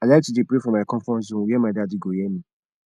i like to dey pray for my comfort zone were my daddy go hear me